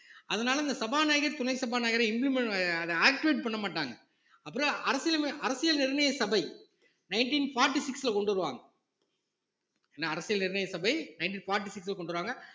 அதனால இந்த சபாநாயகர் துணை சபாநாயகரை implement ஆஹ் அதை activate பண்ண மாட்டாங்க அப்புறம் அரசியல் அமை~அரசியல் நிர்ணய சபை nineteen forty six ல கொண்டு வருவாங்க என்ன அரசியல் நிர்ணய சபை nineteen forty six ல கொண்டு வருவாங்க